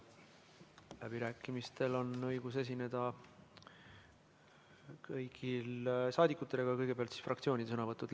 Läbirääkimistel on õigus esineda kõigil saadikutel, aga kõigepealt fraktsioonide esindajate sõnavõtud.